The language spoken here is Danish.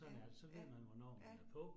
Ja ja ja